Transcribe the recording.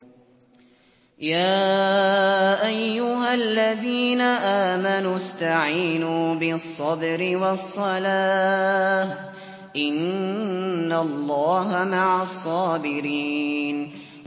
يَا أَيُّهَا الَّذِينَ آمَنُوا اسْتَعِينُوا بِالصَّبْرِ وَالصَّلَاةِ ۚ إِنَّ اللَّهَ مَعَ الصَّابِرِينَ